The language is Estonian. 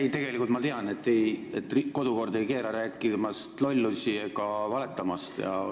Ei, tegelikult ma tean, et kodukord ei keela rääkimast lollusi ega valetamast.